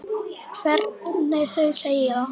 Hvernig þau segja það.